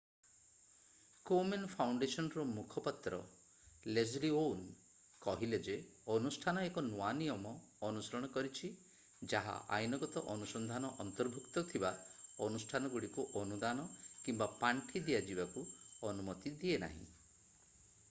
Komen ଫାଉଣ୍ଡେସନର ମୁଖପାତ୍ର Leslie Aun କହିଲେ ଯେ ଅନୁଷ୍ଠାନ ଏକ ନୂଆ ନିୟମ ଅନୁସରଣ କରିଛି ଯାହା ଆଇନଗତ ଅନୁସନ୍ଧାନ ଅନ୍ତର୍ଭୁକ୍ତ ଥିବା ଅନୁଷ୍ଠାନଗୁଡ଼ିକୁ ଅନୁଦାନ କିମ୍ବା ପାଣ୍ଠି ଦିଆଯିବାକୁ ଅନୁମତି ଦିଏନାହିଁ